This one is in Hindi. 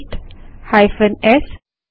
paste hyphen S